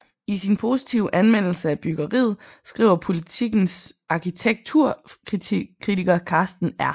I sin positive anmeldelse af byggeriet skriver Politikens arkitekturkritiker Karsten R